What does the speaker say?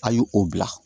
A ye o bila